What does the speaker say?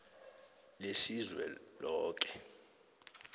lesizweloke